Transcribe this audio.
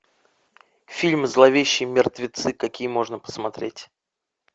фильм зловещие мертвецы какие можно посмотреть